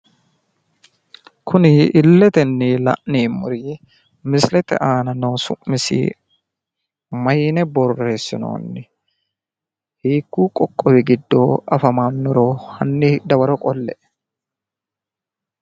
Kuni illetenni la'neemmori misilete aana noo su'misi mayine borreessinoonni? Hiikkuyi qoqqowi giddo afamannoro hanni dawaro qolle"e.